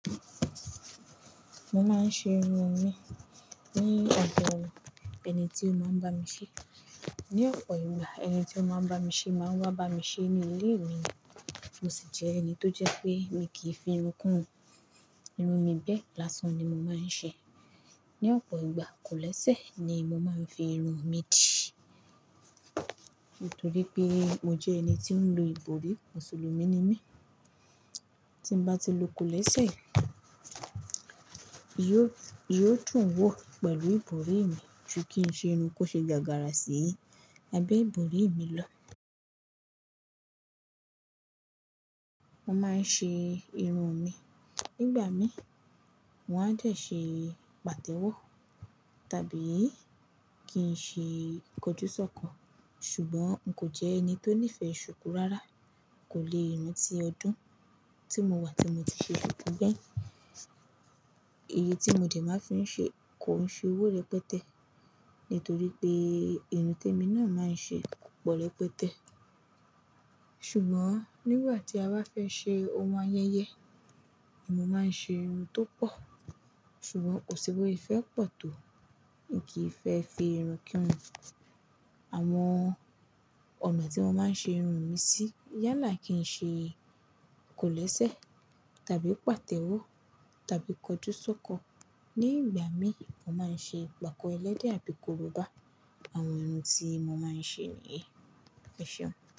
Mo máa ń ṣe irun mi ní ọ̀dọ́ ẹni tí ó máa ń bá mi ṣé. Ni ọ̀pọ̀ ìgbà ẹni tí ó máa ń bá mi ṣé máa ń wá bá mi ṣé ní ilé mi. Mo sì jẹ́ ẹni tó jẹ pé mi kì í fi irun kún irun. Irun mi bẹ́ẹ̀, làsán ni mo máa ń ṣe. Ni ọ̀pọ̀ ìgbà, kòlẹ́sẹ̀ ni mo máa ń fi irun mi dì. Nítorí pé mo jẹ́ ẹni tí ó ń lo ìbòrí, Mùsùlùmí ni mí. Tí mo bá ti lo kòlẹ́sẹ̀, yóò, yóò dùn wọ pẹ̀lú ìbòrí mi ju kí n ṣe irun kó ṣe gágárà sí abẹ́ ìbòrí mi lọ. Mo máa ń ṣe irun mi, nígbà mí, wọ́n a dẹ̀ ṣe pàtẹ́wọ́ tàbí kí n ṣe kọjúsọ́kọ. Ṣùgbọ́n n kò jẹ́ ẹni tó nífẹ̀ẹ́ ṣùkú rárá. Kò le irun ti ọdún tí mo wà tí mo ti ṣe ṣùkú gbẹ̀yìn. Iye tí mo dè máa ń fi ṣe kò ń ṣe owó rẹpẹtẹ́ nítorí pé irun tí èmi náà máa ń ṣe kò pọ̀ rẹpẹtẹ́. Ṣùgbọ́n nígbà tí a bá fẹ́ ṣe ohun ayẹyẹ, ní mo máa ń ṣe irun tó pọ̀. Ṣùgbọ́n kò sì bo ṣe fẹ́ pọ̀ tó n kì í fẹ́ fi irun kírun. Àwọn ọ̀nà tí wọ́n máa ń ṣe irun mi sí yálà kí n ṣe kòlẹ́sẹ̀ tàbí pàtẹ́wọ́ tàbí kọjúsọ́kọ. Ni ìgbà mí, mo máa ń ṣe ipakọ ẹlẹ́dẹ̀ àbí korobá àwọn irun tí mo máa ń ṣe ni, ẹ̀ṣọ́.